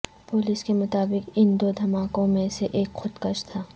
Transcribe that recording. police کے مطابق ان دو دھماکوں میں سے ایک خود کش تھا